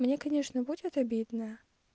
мне конечно будет обидно